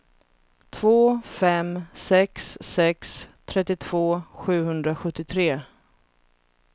två fem sex sex trettiotvå sjuhundrasjuttiotre